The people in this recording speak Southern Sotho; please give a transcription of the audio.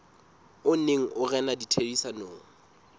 o neng o rena ditherisanong